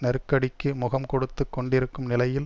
நெருக்கடிக்கு முகம் கொடுத்து கொண்டிருக்கும் நிலையில்